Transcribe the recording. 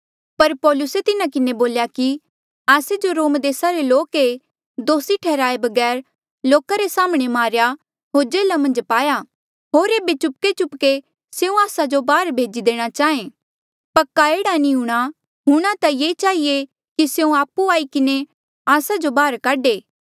पर पौलुसे तिन्हा किन्हें बोल्या कि आस्से जो रोम देसा रे लोक ऐें दोसी ठैहराए बगैर लोका रे साम्हणें मारेया होर जेल्हा मन्झ पाया होर एेबे चुपकेचुपके स्यों आस्सा जो बाहर भेजी देणा चाहें पक्का एह्ड़ा नी हूंणां हूंणां ता ये चहिए कि स्यों आपु आई किन्हें आस्सा जो बाहर काढे